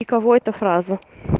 и кого эта фраза